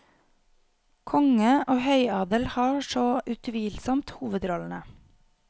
Konge og høyadel har så utvilsomt hovedrollene.